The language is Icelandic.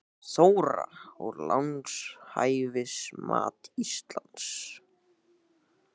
Þóra: Og lánshæfismat Íslands?